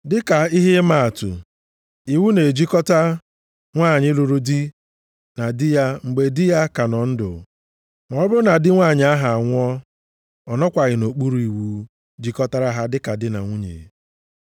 Dịka ihe ịmaatụ, iwu na-ejikọta nwanyị lụrụ di na di ya mgbe di ya ka nọ ndụ, ma ọ bụrụ na di nwanyị ahụ anwụọ, ọ nọkwaghị nʼokpuru iwu jikọtara ha dịka di na nwunye.